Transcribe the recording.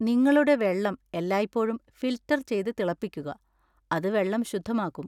നിങ്ങളുടെ വെള്ളം എല്ലായ്പ്പോഴും ഫിൽട്ടർ ചെയ്ത് തിളപ്പിക്കുക, അത് വെള്ളം ശുദ്ധമാക്കും.